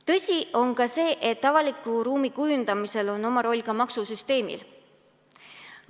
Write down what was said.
Tõsi on ka see, et avaliku ruumi kujundamisel on oma roll maksusüsteemil.